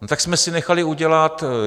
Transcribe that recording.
No tak jsme si nechali udělat...